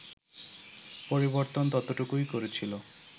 পরিবর্তন ততটুকুই করেছিল